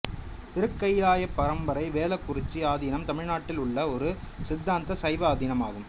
திருக்கயிலாயபரம்பரை வேளாக்குறிச்சி ஆதீனம் தமிழ்நாட்டில் உள்ள ஒரு சித்தாந்த சைவ ஆதீனம் ஆகும்